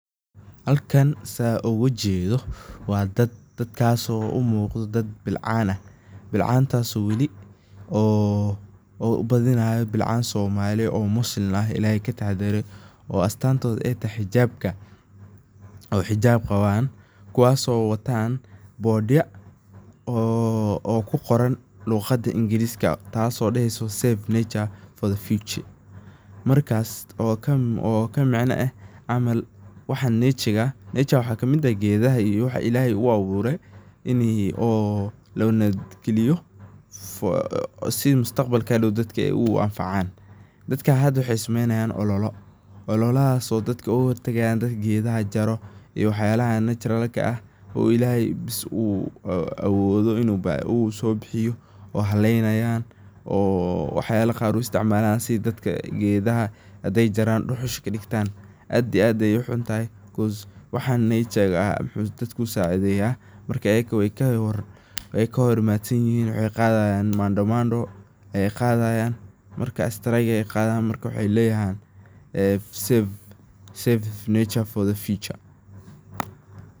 Halkan san oga jedho, waa dad dadkaso u muqda dad bilcan ah , bilcantaso wali aan u badinayo bilcan Somali oo waliba Muslim ah oo Ilahey kataxa dare oo astantedu ay tahay xijabka ,oo xijab qawan kuwaso watan Boards oo ku qoran luqada ingiriska taso daheysa save nature ,for the future waxas oo ka micno ah , nature maxa ka mid eh gedaha iyo waxa yalaha Ilahey u abure la nabad galiyo si mustaqbalka hadow dadka ay u anfacan, dadka hada waxey sumey nayan olola , olalahaso ay oga hortagayan dadka gedaha jaro iyo wax yalaha naturalka ah oo Ilahey bes uu awodho inu sobihiyo oo haley nayan. Oo wax yalaha qaar u istic malayan sidha dadka qaar intey jaran duhusha u isticmalayan aad iyo aad ayey u xuntahay because waxan nechajada dadku sacideyaa ayaga wey kahor imaad san yihin oo waxey qadhayan Maandamano ay qadayan marka strike ayey qadhayan wexey leyahan save nature, for the future